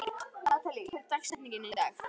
Natalí, hver er dagsetningin í dag?